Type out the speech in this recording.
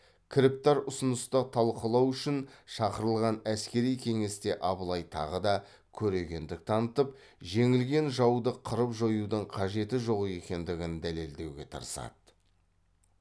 кіріптар ұсынысты талқылау үшін шақырылған әскери кеңесте абылай тағы да көрегендік танытып жеңілген жауды қырып жоюдың қажеті жоқ екендігін дәлелдеуге тырысады